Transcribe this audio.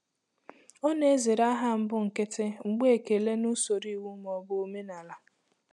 Ọ na-ezere aha mbụ nkịtị mgbe ekele n'usoro iwu ma ọ bụ omenala.